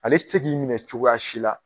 Ale ti se k'i minɛ cogoya si la